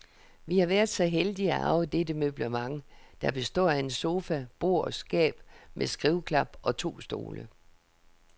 Vi har været så heldige at arve dette møblement, der består af en sofa, bord, skab med skriveklap og to stole.